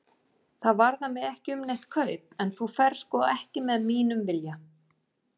Það varðar mig ekki um neitt kaup, en þú ferð sko ekki með mínum vilja.